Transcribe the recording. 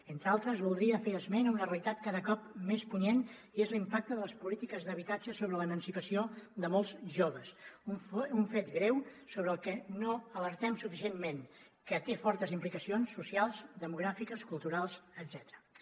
entre altres voldria fer esment a una realitat cada cop més punyent i és l’impacte de les polítiques d’habitatge sobre l’emancipació de molts joves un fet greu sobre el que no alertem suficientment que té fortes implicacions socials demogràfiques culturals etcètera